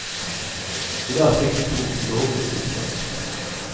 I dag fikk de to lovlig sitteplass.